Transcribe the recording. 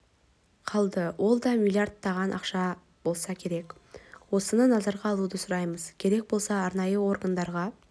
қалды ол да миллиардтаған ақша болса керек осыны назарға алуды сұраймыз керек болса арнайы органдар